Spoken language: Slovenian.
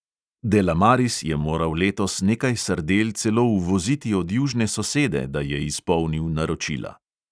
Delamaris je moral letos nekaj sardel celo uvoziti od južne sosede, da je izpolnil naročila.